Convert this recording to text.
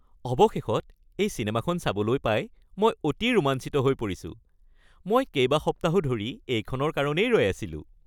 অৱশেষত এই চিনেমাখন চাবলৈ পাই মই অতি ৰোমাঞ্চিত হৈ পৰিছোঁ! মই কেইবাসপ্তাহো ধৰি এইখনৰ কাৰণেই ৰৈ আছিলো।